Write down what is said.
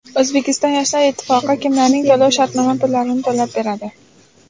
O‘zbekiston yoshlar ittifoqi kimlarning to‘lov-shartnoma pullarini to‘lab beradi?.